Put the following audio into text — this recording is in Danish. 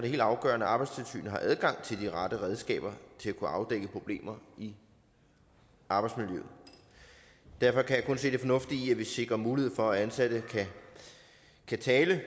det helt afgørende at arbejdstilsynet har adgang til de rette redskaber til at kunne afdække problemer i arbejdsmiljøet derfor kan jeg kun se det fornuftige i at vi sikrer mulighed for at ansatte kan tale